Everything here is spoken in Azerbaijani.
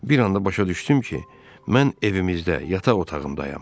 Bir anda başa düşdüm ki, mən evimizdə, yataq otağındayam.